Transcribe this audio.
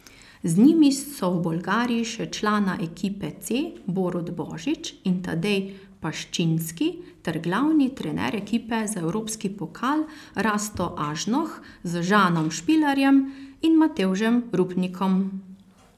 Z njimi so v Bolgariji še člana ekipe C Borut Božič in Tadej Paščinski ter glavni trener ekipe za evropski pokal Rasto Ažnoh z Žanom Špilarjem in Matevžem Rupnikom.